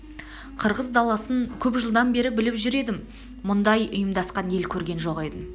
қырғыз даласын көп жылдан бер біліп жүріп мұндай ұйымдасқан ел көрген жоқ едім